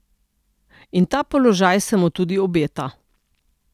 In ta položaj se mu tudi obeta.